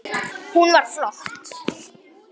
Hún var flott.